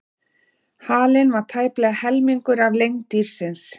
Halinn var tæplega helmingur af lengd dýrsins.